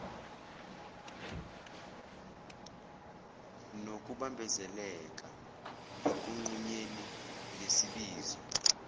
nokubambezeleka ekunqunyeni ngesibizo